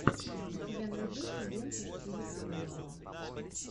у тебя найдется лента в стиле криминала